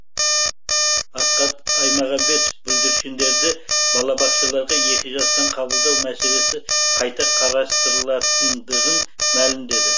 асхат аймағамбетов бүлдіршіндерді балабақшаларға екі жастан қабылдау мәселесі қайта қарастырылатындығын мәлімдеді